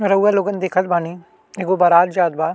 रउवा लोगन देखत बानी एगो बारात जात बा।